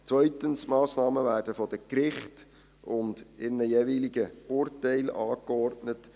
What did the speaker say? Zweitens: Massnahmen werden von den Gerichten und in einem jeweiligen Urteil angeordnet.